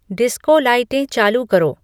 disco लाइटें चालू करो